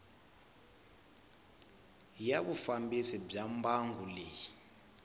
ya vufambisi bya mbangu leyi